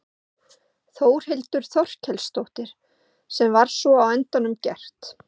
Þórhildur Þorkelsdóttir: Sem var svo á endanum gert?